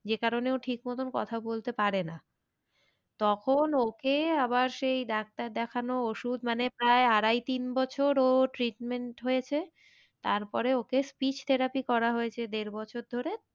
যে কারণে ও ঠিক মতন কথা বলতে পারে না। তখন ওকে আবার সেই ডাক্তার দেখানো ওষুধ মানে প্রায় আড়াই তিন বছর ও treatment হয়েছে। তারপরে ওকে speech therapy করা হয়েছে দেড় বছর ধরে।